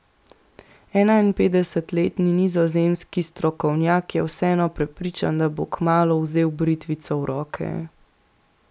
Enainpetdesetletni nizozemski strokovnjak je vseeno prepričan, da bo kmalu vzel britvico v roke.